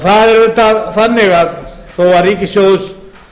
það er auðvitað þannig að þó að ríkissjóður